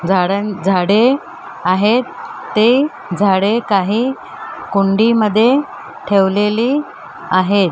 झाडान झाडे आहेत ते झाडे काही कुंडीमध्ये ठेवलेली आहेत.